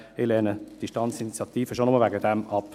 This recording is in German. Ich lehne diese Standesinitiative schon allein deshalb ab.